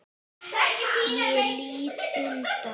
Ég lít undan.